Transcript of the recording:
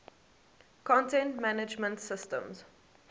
content management systems